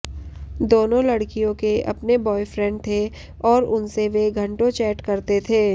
दोनों लड़कियों के अपने ब्वायफ्रैन्ड थे और उनसे वे घंटों चैट करते थे